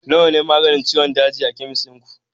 nawa ne maganin ciwon daji a cikin chemist ɗin ku